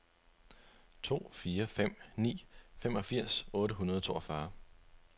to fire fem ni femogfirs otte hundrede og toogfyrre